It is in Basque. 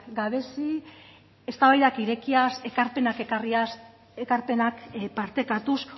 gabezi eztabaidak irekiaz ekarpenak ekarriaz ekarpenak partekatuz